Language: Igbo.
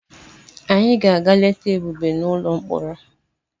Anyị ga-aga leta Ebube n'ụlọ mkpọrọ.